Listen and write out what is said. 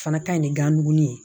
Fana ka ɲi ni gan duguni ye